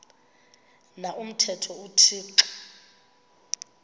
na umthetho uthixo